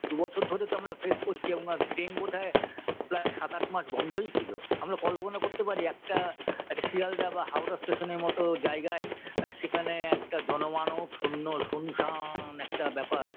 দুবছর ধরে তো আমরা face করছি এবং আর train বোধহয় প্রায় সাত আট মাস বন্ধই ছিল আমরা কল্পনা করতে পারি একটা একটা শিয়ালদা বা হাওড়া station -এর মতো জায়গায় সেখানে একটা জনমানব শূন্য শুনশান একটা ব্যাপার